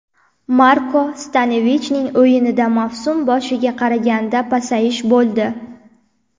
Marko Stanoyevichning o‘yinida mavsum boshiga qaraganda pasayish bo‘ldi.